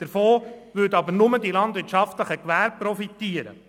Davon würden aber nur die landwirtschaftlichen Gewerbe profitieren.